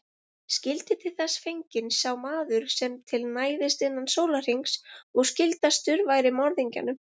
Skyldi til þess fenginn sá maður sem til næðist innan sólarhrings og skyldastur væri morðingjanum.